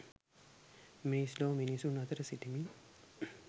මිනිස් ලොව මිනිසුන් අතර සිටිමින්